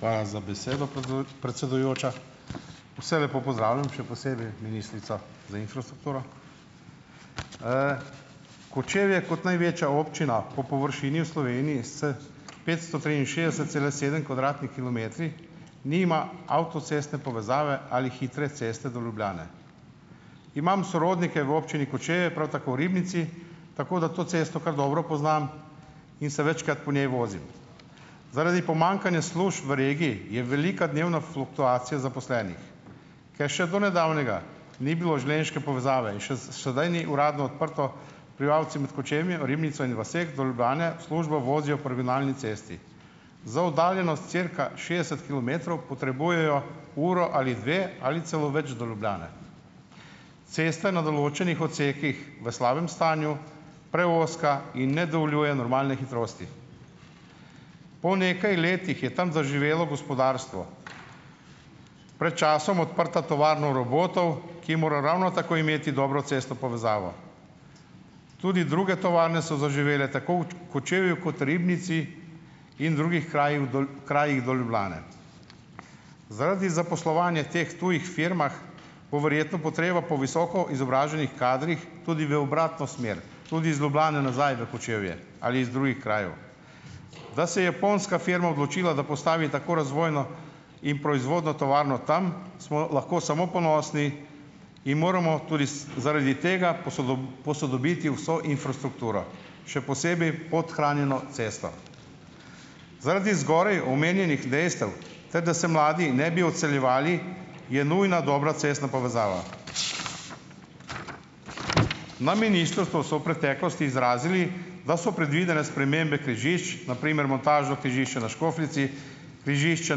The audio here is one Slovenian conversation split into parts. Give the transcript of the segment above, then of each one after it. Hvala za besedo, predsedujoča. Vse lepo pozdravljam, še posebej ministrico za infrastrukturo. Kočevje kot največja občina po površini v Sloveniji s petsto triinšestdeset cela sedem kvadratnimi kilometri, nima avtocestne povezave ali hitre ceste do Ljubljane. Imam sorodnike v občini Kočevje, prav tako v Ribnici, tako da to cesto kar dobro poznam in se večkrat po njej vozim. Zaradi pomanjkanja služb v regiji je velika dnevna fluktuacija zaposlenih. Ker še do nedavnega ni bilo železniške povezave in še sedaj ni uradno odprto, prebivalci med Kočevjem, Ribnico in vaseh do Ljubljane v službo vozijo po regionalni cesti. Za oddaljenost cirka šestdeset kilometrov potrebujejo uro ali dve ali celo več do Ljubljane. Cesta je na določenih odsekih v slabem stanju, preozka in ne dovoljuje normalne hitrosti. Po nekaj letih je tam zaživelo gospodarstvo, pred časom odprta tovarna robotov, ki mora ravno tako imeti dobro cestno povezavo. Tudi druge tovarne so zaživele tako v Kočevju kot Ribnici in drugih krajih krajih do Ljubljane. Zaradi zaposlovanja teh tujih firmah bo verjetno potreba po visoko izobraženih kadrih tudi v obratno smer tudi iz Ljubljane nazaj na Kočevje ali iz drugih krajev. Da se je japonska firma odločila, da postavi tako razvojno in proizvodnjo tovarno tam, smo lahko samo ponosni in moramo tudi zaradi tega posodobiti vso infrastrukturo. Še posebej podhranjeno cesto. Zaradi zgoraj omenjenih dejstev ter da se mladi ne bi odseljevali, je nujna dobra cestna povezava. Na ministrstvu so v preteklosti izrazili, da so predvidene spremembe križišču na primer montažno križišče na Škofljici, križišče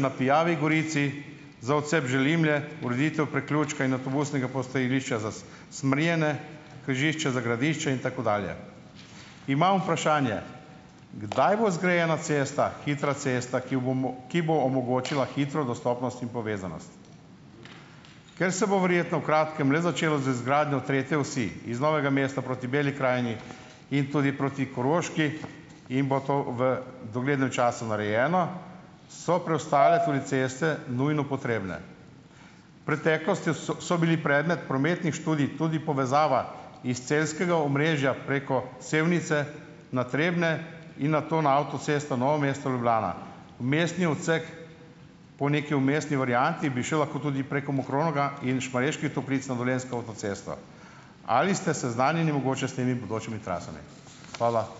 na Pijavi Gorici za odcep Želimlje, ureditev priključka in avtobusnega postajališča za Smrjene, križišče za Gradiče in tako dalje. Imam vprašanje: Kdaj bo zgrajena cesta, hitra cesta, ki bo ki bo omogočila hitro dostopnost in povezanost? Ker se bo verjetno v kratkem le začelo z izgradnjo tretje osi iz Novega mesta proti Beli krajini in tudi proti Koroški in bo to v doglednem času narejeno, so preostale tudi ceste nujno potrebne. Preteklosti so bili predmet prometnih študij tudi povezava iz celjskega omrežja preko Sevnice na Trebnje in nato na avtocesto Novo mesto-Ljubljana. Mestni odsek po neki vmesni varianti bi šel lahko preko Mokronoga in Šmarjeških Toplic na dolenjsko avtocesto. Ali ste seznanjeni mogoče s temi bodočimi trasami? Hvala.